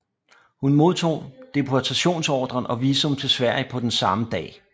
Hun modtog deportationsordren og visum til Sverige på samme dag